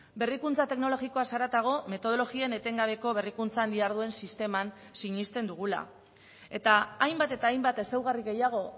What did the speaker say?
berrikuntza teknologikoaz haratago metodologien etengabeko berrikuntzan diharduen sisteman sinesten dugula eta hainbat eta hainbat ezaugarri gehiago